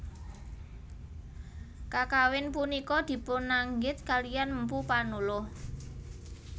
Kakawin punika dipunanggit kaliyan Mpu Panuluh